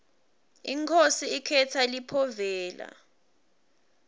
inkhosi ikhetsa liphovela